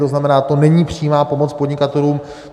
To znamená, to není přímá pomoc podnikatelům.